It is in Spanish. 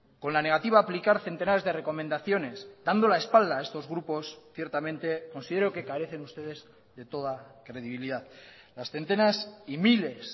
con la negativa a aplicar centenares de recomendaciones dando la espalda a estos grupos ciertamente considero que carecen ustedes de toda credibilidad las centenas y miles